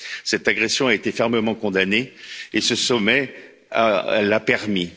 Cette agression a été fermement condamnée et ce sommet l'a permis.